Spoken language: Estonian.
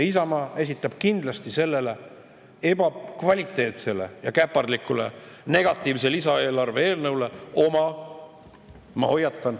Isamaa esitab kindlasti sellele ebakvaliteetsele ja käpardlikule negatiivse lisaeelarve eelnõule kõrvale oma – ma hoiatan!